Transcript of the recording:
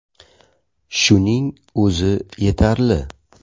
Shuning o‘zi yetarli”.